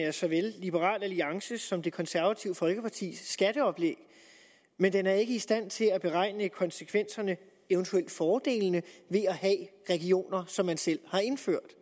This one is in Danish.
af såvel liberal alliances som det konservative folkepartis skatteoplæg men den er ikke i stand til at beregne konsekvenserne eventuelt fordelene ved at have regioner som man selv har indført